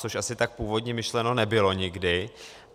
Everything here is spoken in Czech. Což asi tak původně myšleno nebylo nikdy.